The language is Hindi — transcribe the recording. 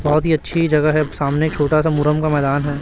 बहोत ही अच्छी जगह है सामने छोटा सा मुरम का मैदान है।